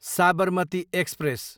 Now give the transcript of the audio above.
Sabarmati express